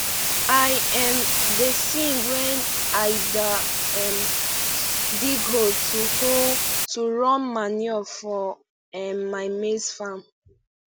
i um da sing wen i da um dig hole to hole to run manure for um my maize farm